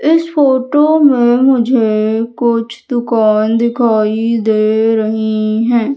इस फोटो में मुझे कुछ दुकान दिखाई दे रही है।